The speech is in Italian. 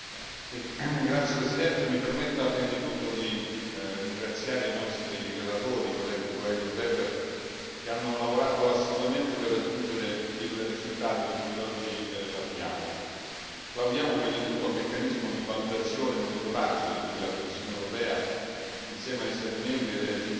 Signor Presidente, onorevoli colleghi, mi permetta prima di tutto di ringraziare i nostri relatori, i colleghi Coelho e Weber, che hanno lavorato assiduamente per raggiungere il risultato di cui oggi parliamo. Plaudiamo prima di tutto al meccanismo di valutazione e monitoraggio di cui la Commissione europea,